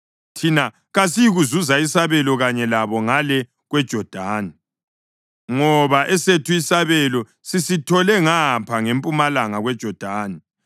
Thina kasiyikuzuza isabelo kanye labo ngale kweJodani, ngoba esethu isabelo sisithole ngapha ngempumalanga kweJodani.”